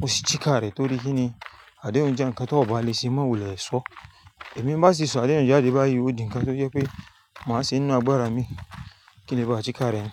mo sì sika rẹ̀ torí kí ni, àdéhùn jẹ́ ǹkan tọ̀ ba lè ṣe, má wò lè sọ. Ẹ̀mi bá sì sọ àdéhùn jáde bá a yíwọ́ di ǹkan tó yẹ pé màá ṣe inú àgbára mi kí ni bá sika rẹ̀.